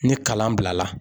Ni kalan bila la